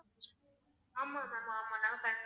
ஆமா ma'am ஆமா